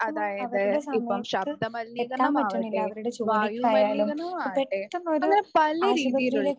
അതായത് ഇപ്പം ശബ്ദമലിനീകരണമാവട്ടെ, വായു മലിനീകരണമാവട്ടെ അങ്ങനെ പല രീതിയിലുള്ള